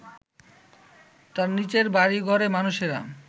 তার নিচের বাড়িঘরে মানুষেরা